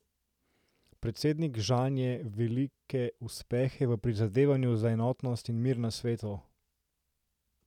Predsednik žanje velike uspehe v prizadevanju za enotnost in mir na svetu.